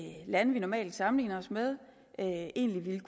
lande vi normalt sammenligner os med egentlig ville